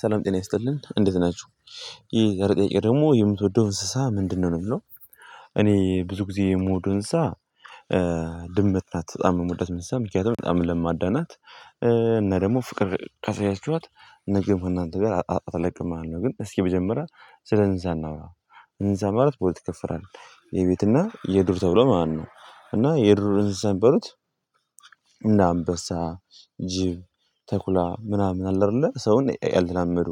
ሰላም ጤና ይስጥልን እንዴት ናችሁ ይሄ ጥያቄ ደግሞ የምትወደው እንስሳ ምንድነው ነው የሚለው? እኔ ብዙ ጊዜ የምወደው እንስሳ። ድምት ናት በጣም የምወዳት ምሳ መንምክንያቱ በጣም ለማዳናት እና ደግሞ ፍቅር ካሳያችሀት ነገም እናንተ ጋር አትለቅም ማለት ነው። ግን እስኪ መጀመሪያ ስለ እንስሳ እናውራ። እንስሳ ማለት በሁለት ይከፈላል የቤትና የዱር ተብሎ ማለት ነው። እና የዱር እንስሳ የሚባሉት እነ አንበሳ ጅብ ተኩላ ምናምን አለ አይደለ ሰውን ያልተላመዱ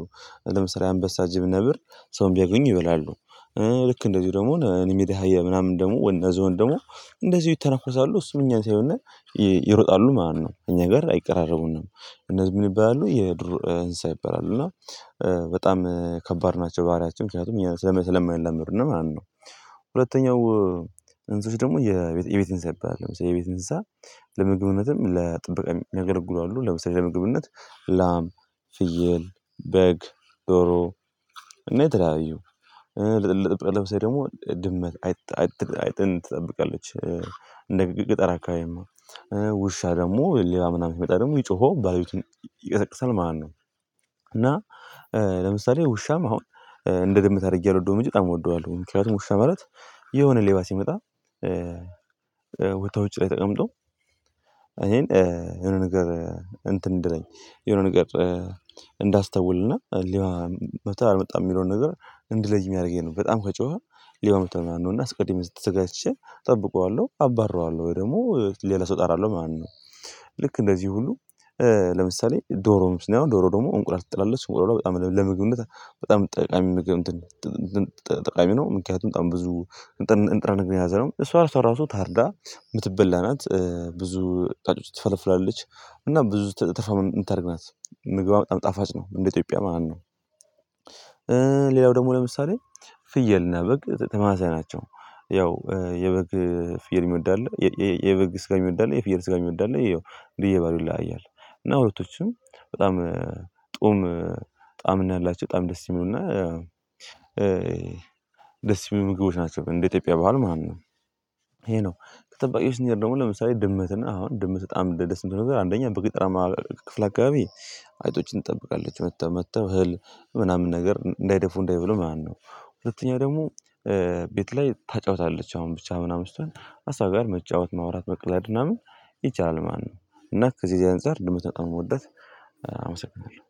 ለምሳሌ አንበሳ ጅብ ነብር ሰውን ቢያገኙ ይበላሉ። ልክ እንደዚሁ ደግሞ እኔ የሚዳ አህያ የምናምን ደግሞ አነ ዝሆን ደግሞ እንደዚሁ ይተነኮሳሉ እሱም እኛን ሲየዩነ ይሮጣሉ ማለት ነው እኛ ጋር አይቀራረቡንም። እነዚህ ምን ይባላሉ የዱር እንስሳ ይባላሉ እና በጣም ከባድ ናቸው ባህሪያቸው ምክንያቱም ስለማይላመዱነ ማለት ነው። ሁለተኛው እንስሶች ደግሞ የቤት እንስሳ ይባላሉ ለምሳሌ የቤት እንስሳ ለምግብነትም ለጥበቃም የሚያገለግሉ አሉ። ለምሳሌ ለምግብነት ላም ፍየል በግ ዶሮ እኔ የተለያዩ ለምሳሌ ደግሞ ድመት አይጥን ትጠብቃለች እንደ አካባቢማ ውሻ ደግሞ ሌባ ምናምን ሲመጣ ደግሞ ጮሆ ባቤቱን ይቀሰቅሳል ማለት ነው። እና ለምሳሌ ውሻም አሁን እንደ ድመት አድርጌ አልወደውም እንጂ በጣም እወደዋለሁ ምክንያቱም ውሻ ማለትየሆነችው ሌባ ሲመጣ ወቶ ውጪ ላይ ተቀምጦ እኔን የሆነ ነገር እንትን እንድለኝ የሆነ ነገር እንዳስተውልና ሌባ መቷል አልመጣም የሚለውን ነገር እንድለይ ሚያረገኝ ነው በጣም ከጮኸ ሌባ መቷል ማለት ነው እና አስቀድሜ ተዘጋጅቼ እጠብቀዋለሁ አባርረዋለሁ ወይም ደግሞ ሌላ ሰው እጠራለሁ ማለት ነው። ልክ እንደዚህ ሁሉ ለምሳሌ ዶሮ ነው አሁን ዶሮ ደግሞ እንቁላል ትጥላለች እንቁሏሏ በጣም ለምግብነት በጣም ጠቃሚ ምግብ ጠቃሚ ነው። ምክንያቱም በጣም ብዙ ንጥረነገር የያዘነው እሷ እሷ ራሱ ታርዳ ምትበላ ናት ብዙ ጫጩት ትፈለፍላለች እና ብዙ ተፋ ምታረግ ናት ምግቧ በጣም ጣፋጭ ነው እንደ ኢትዮጵያ ማለት ነው። ሌላው ደግሞ ለምሳሌ ፍየልና በግ ተመሳሳይ ናቸው ያው የበግ ፍየል የሚወድ አለ የበግ ስጋ የሚወድ አለ የፍየል ስጋ የሚወድ አለ ይየው እንደየ ባህሪው ይለያያል። እና ሁለቶችም በጣም ጡዕም ጣም ነው ያላቸው በጣም ደስ ሚሉና ደስ የሚል ምግቦች ናቸው እንደ ኢትዮጵያ ባህል ማለት ነው። ይሄ ነው ከጠባቂዎች እስንሄድ ደግሞ ለምሳሌ ድመትና አሁን ድመት በጣም ደስምትለው ነገር አንደኛ በገጠራማ ክፍል አካባቢ አይጦችን ትጠብቃለች መጥተው መጥተው እህል ምናምን ነገር እንዳይደፉ እንዳይበሉ ማለት ነው። ሁለተኛ ደግሞ ቤት ላይ ታጫውታለች አሁን ብቻ ምናምን ስትሆን ሀሳብህን መጫወት ማውራት መቅለድ ምናምን ይቻላል ማለት ነው። እና ከዚህ ከዚህ አንፃር ድመት በጣም ነው እምወዳት። አመሰግናለሁ